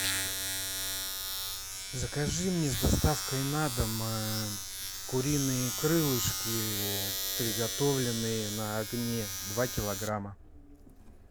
закажи мне с доставкой на дом куриные крылышки приготовленные на огне два килограмма